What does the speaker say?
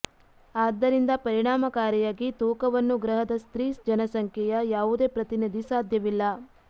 ಆದ್ದರಿಂದ ಪರಿಣಾಮಕಾರಿಯಾಗಿ ತೂಕವನ್ನು ಗ್ರಹದ ಸ್ತ್ರೀ ಜನಸಂಖ್ಯೆಯ ಯಾವುದೇ ಪ್ರತಿನಿಧಿ ಸಾಧ್ಯವಿಲ್ಲ